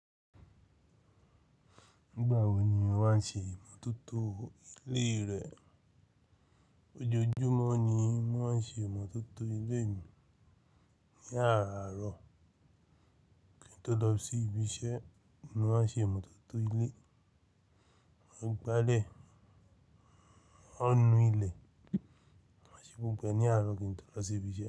Ìgbà wo ni wọ́n ṣe ìmótótó ilé rẹ? Ojoojúmọ́ ni wọ́n ṣe ìmótótó ilé mi. Ní àárọ̀ kí n tó lọ sí ibiṣẹ́ mo maa n ṣe ìmótótó ilé. Mọ̀ ní gbalé, ó nu ilẹ̀, wọ́n ṣe púpẹ̀ ní àárọ̀ kí n tó lọ sí ibiṣẹ́.